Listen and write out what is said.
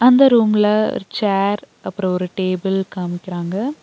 இந்த ரூம்ல ஒரு சேர் அப்றோ ஒரு டேபிள் காமிக்கிறாங்க.